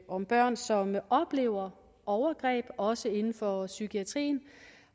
om børn som oplever overgreb også inden for psykiatrien